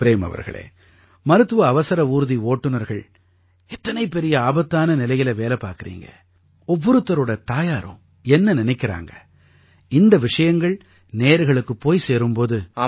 சரி ப்ரேம் அவர்களே மருத்துவ அவசர ஊர்தி ஓட்டுநர்கள் எத்தனை பெரிய ஆபத்தான நிலையில வேலை பார்க்கறீங்க ஒவ்வொருத்தரோட தாயாரும் என்ன நினைக்கறாங்க இந்த விஷயங்கள் நேயர்களுக்குப் போய் சேரும் போது